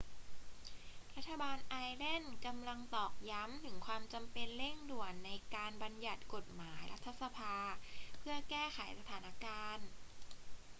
รัฐบาลไอร์แลนด์กำลังตอกย้ำถึงความจำเป็นเร่งด่วนในการบัญญัติกฎหมายรัฐสภาเพื่อแก้ไขสถานการณ์